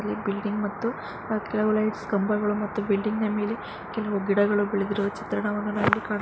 ಪಕ್ಕದಲ್ಲಿ ಬಿಲ್ಡಿಂಗ್ ಮತ್ತು ಕೆಲವು ಲೈಟ್ಸ್ ಕಂಬಗಳು ಮತ್ತು ಬಿಲ್ಡಿಂಗ್ ನ ಮೇಲೆ ಕೆಲವು ಗಿಡಗಳು ಬೆಳೆದಿರುವ ಚಿತ್ರಣವನ್ನು ನಾವಿಲ್ಲಿ ಕಾಣ --